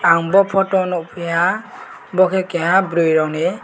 nung le photo nugphaia bo ke Kaia bwri rog ni.